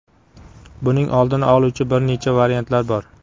Buning oldini oluvchi bir necha variantlar bor.